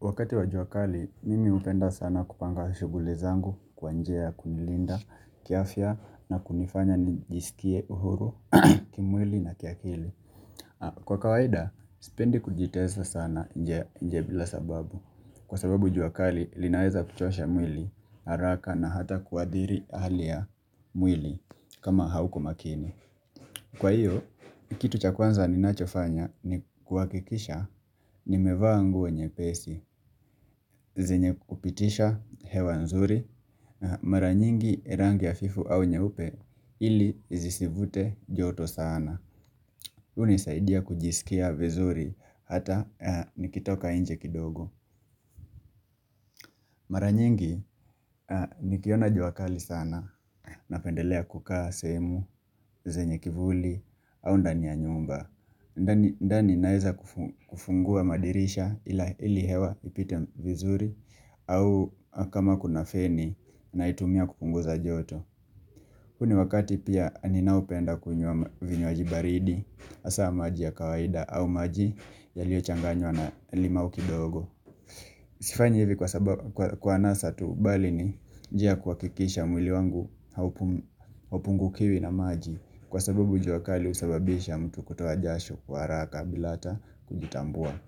Wakati wa juakali, mimi hupenda sana kupanga shughuli zangu kwa njia kunjilinda kiafia na kunifanya nijisikie uhuru kimwili na kiakili. Kwa kawaida, sipendi kujitesa sana nje nje bila sababu. Kwa sababu juakali, linaeza kuchosha mwili, haraka na hata kuathiri hali ya mwili kama hauko makini. Kwa hiyo, kitu cha kwanza ninachofanya ni kuwakikisha nimevaa nguo nyepesi zenye kupitisha hewa nzuri Maranyingi rangi hafifu au nyeupe ili zisivute joto saana. Unisaidia kujisikia vizuri hata nikitoka nje kidogo Maranyingi nikiona juakali sana Napendelea kukaa semu, zenye kivuli, au ndani ya nyumba, ndani ndani naeza kufungua madirisha ili hewa ipite vizuri au kama kuna feni naitumia kupungu za joto huu ni wakati pia ninaupenda kunywa vinywajibaridi hasa maji ya kawaida au maji yalio changanywa na limau kidogo Sifanyi hivi kwa nasa tu bali ni njia kwa kikisha mwili wangu haupungukiwi na maji Kwa sabubu juakali husababisha mtu kutoa jasho kwa haraka bila hata kujitambua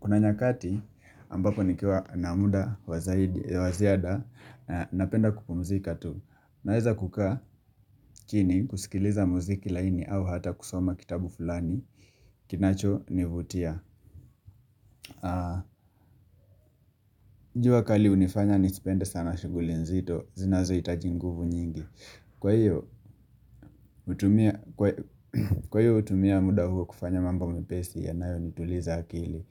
Kuna nyakati ambapo nikuwa na muda waziada napenda kupumuzika tu. Naweza kuka chini kusikiliza muziki laini au hata kusoma kitabu fulani Kinacho nivutia juakali hunifanya nisipende sana shughuli nzito zinazo hitajinguvu nyingi Kwa hiyo hutumia muda huo kufanya mambo mepesi ya nayo nituliza akili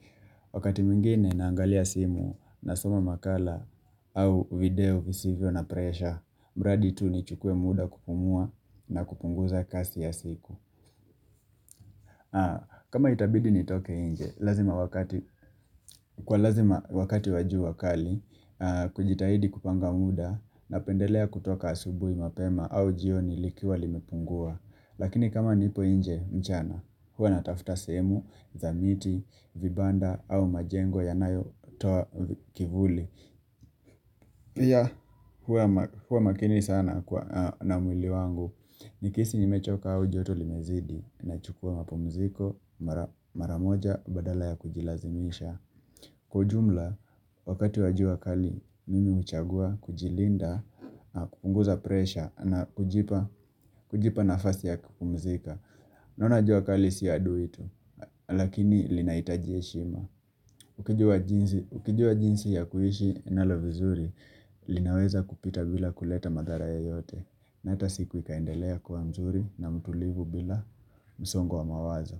Wakati mwingine naangalia simu na soma makala au video visivyo na presha, mradi tu ni chukue muda kupumua na kupunguza kasi ya siku kama itabidi nitoke nje, kwa lazima wakati wajua kali kujitahidi kupanga muda na pendelea kutoka asubuhi mapema au jioni likiwa limepungua. Lakini kama nipo nje, mchana, huwa natafuta sehemu, zamiti, vibanda, au majengo ya nayo toa kivuli ya, huwa makini sana na mwili wangu Nikihisi nimechoka au joto limezidi, na chukua mapumziko, maramoja, badala ya kujilazimisha Kwaujumla, wakati wajua kali, mimi huchagua, kujilinda, kupunguza presha, na kujipa nafasi ya kupumzika Naonajua kali si adui, lakini linahitaji heshima. Ukijua jinsi ya kuhishi nalo vizuri, linaweza kupita bila kuleta madhara yoyote. Nata sikuikaendelea kwa mzuri na mtulivu bila msongo wa mawazo.